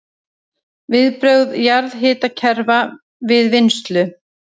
Viðbrögð jarðhitakerfa við vinnslu